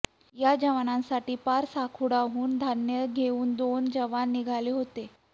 या जवानांसाठी पारसागुडाहून धान्य घेऊन दोन जवान निघाले होते